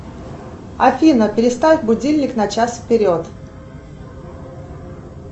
афина переставь будильник на час вперед